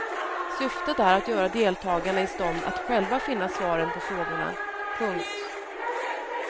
Syftet är att göra deltagarna i stånd att själva finna svaren på frågorna. punkt